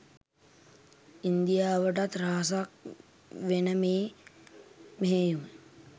ඉන්දියාවටත් රහසක් වෙන මේ මෙහෙයුම